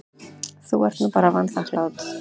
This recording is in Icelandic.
Þú ert bara vanþakklát.